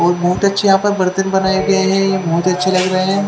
और बहोत आच्छे या पर बर्तन बनाए गये हे या पे बहोत अच्छे लग रहे हैं।